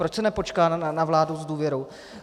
Proč se nepočká na vládu s důvěrou?